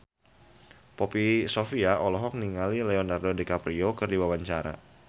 Poppy Sovia olohok ningali Leonardo DiCaprio keur diwawancara